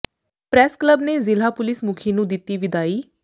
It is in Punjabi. ਪ੍ਰੈੱਸ ਕਲੱਬ ਨੇ ਜ਼ਿਲ੍ਹਾ ਪੁਲਿਸ ਮੁਖੀ ਨੂੰ ਦਿੱਤੀ ਵਿਦਾਈ